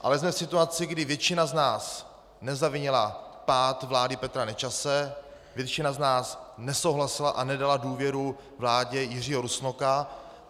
Ale jsme v situaci, kdy většina z nás nezavinila pád vlády Petra Nečase, většina z nás nesouhlasila a nedala důvěru vládě Jiřího Rusnoka.